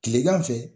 Kilegan fɛ